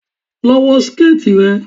Lọ wọ síkẹ̀tì rẹ.